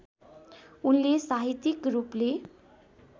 उनले साहित्यिक रूपले